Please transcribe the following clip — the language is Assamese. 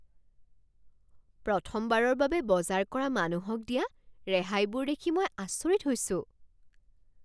প্ৰথমবাৰৰ বাবে বজাৰ কৰা মানুহক দিয়া ৰেহাইবোৰ দেখি মই আচৰিত হৈছোঁ।